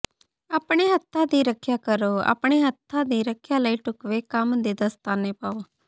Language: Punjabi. ਆਪਣੇ ਹੱਥਾਂ ਦੀ ਰੱਖਿਆ ਕਰੋ ਆਪਣੇ ਹੱਥਾਂ ਦੀ ਰੱਖਿਆ ਲਈ ਢੁਕਵੇਂ ਕੰਮ ਦੇ ਦਸਤਾਨੇ ਪਾਓ